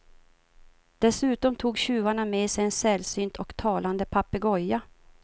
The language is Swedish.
Dessutom tog tjuvarna med sig en sällsynt och talande papegoja.